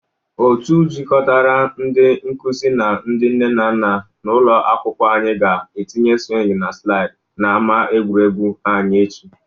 Otu jịkọtara ndị nkụzi na ndị nne na nna n'ụlọ akwụkwọ anyị ga-etinye swing na slịd n'ama egwuregwu anyị echi.